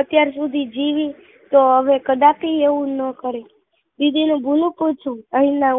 અત્યાર સુધી જીવી તો હવે કદાપી આવું ના કરે બીજી નો કાઈ એના